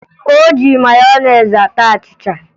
O ji meyonezi ata achịcha